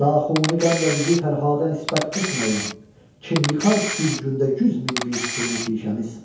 Naxuni qəmlə bizi Fərhada nisbət etməyin, Kim yıxar bir gündə yüz min bistunu tişəmiz?